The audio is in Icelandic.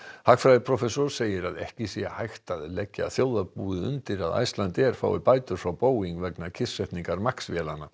hagfræðiprófessor segir að ekki sé hægt að leggja þjóðarbúið undir að Icelandair fái bætur frá Boeing vegna kyrrsetningar MAX vélanna